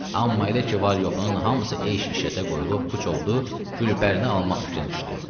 Amma elə ki, var-yoxunun hamısı eş-işətə qoyulub puç oldu, Gülpərini almaq fikrinə düşdü.